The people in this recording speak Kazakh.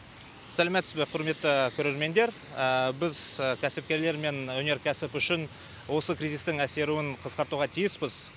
сәлематсыз ба құрметті көрермендер біз кәсіпкерлер мен өнеркәсіп үшін осы кризистің әсеруін қысқартуға тиіспіз